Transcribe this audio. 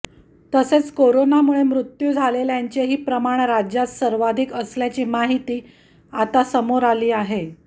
तसेच कोरोनामुळे मृत्यू झालेल्यांचेही प्रमाण राज्यात सर्वाधिक असल्याची माहिती आता समोर आली आहे